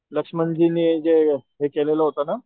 लक्ष्मणजिने जे हे केलेल होत ना,